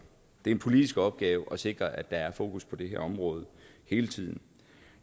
det er en politisk opgave at sikre at der er fokus på det her område hele tiden